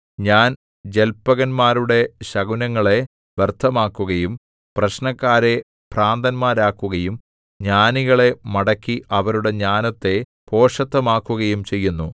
ഞാൻ ജല്പകന്മാരുടെ ശകുനങ്ങളെ വ്യർത്ഥമാക്കുകയും പ്രശ്നക്കാരെ ഭ്രാന്തന്മാരാക്കുകയും ജ്ഞാനികളെ മടക്കി അവരുടെ ജ്ഞാനത്തെ ഭോഷത്തമാക്കുകയും ചെയ്യുന്നു